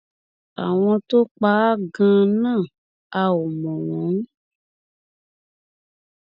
àwọn tó pa á ganan a ò mọ wọn